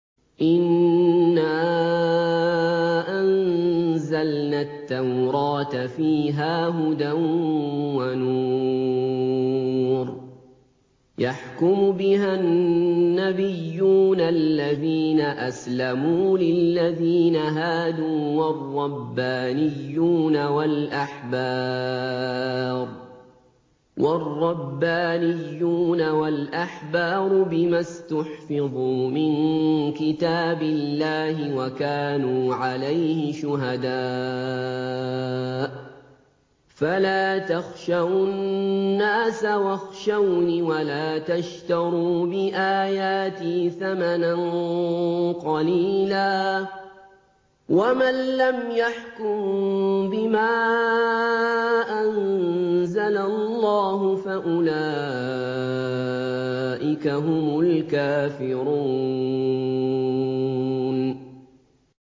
إِنَّا أَنزَلْنَا التَّوْرَاةَ فِيهَا هُدًى وَنُورٌ ۚ يَحْكُمُ بِهَا النَّبِيُّونَ الَّذِينَ أَسْلَمُوا لِلَّذِينَ هَادُوا وَالرَّبَّانِيُّونَ وَالْأَحْبَارُ بِمَا اسْتُحْفِظُوا مِن كِتَابِ اللَّهِ وَكَانُوا عَلَيْهِ شُهَدَاءَ ۚ فَلَا تَخْشَوُا النَّاسَ وَاخْشَوْنِ وَلَا تَشْتَرُوا بِآيَاتِي ثَمَنًا قَلِيلًا ۚ وَمَن لَّمْ يَحْكُم بِمَا أَنزَلَ اللَّهُ فَأُولَٰئِكَ هُمُ الْكَافِرُونَ